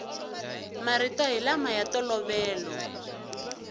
marito hi lama ya ntolovelo